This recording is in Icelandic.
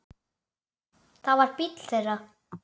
Það var bíllinn þeirra.